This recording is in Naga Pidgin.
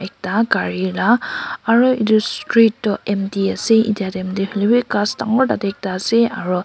Ekta gari ra aro etu street tuh empty ase etya time teh holilevi ghas dangor tate ekta ase aro--